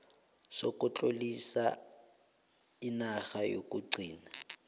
sokutlolisa inarha yokugcina